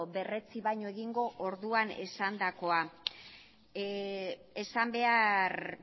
berretsi baino egingo orduan esandakoa esan behar